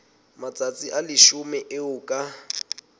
matsatsi a leshome eo ka